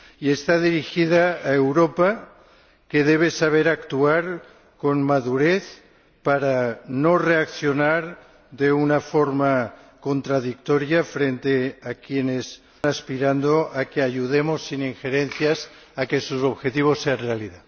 y está dirigido a Europa, que debe saber actuar con madurez para no reaccionar de una forma contradictoria frente a quienes aspiran a que ayudemos sin injerencias a que sus objetivos sean realidad.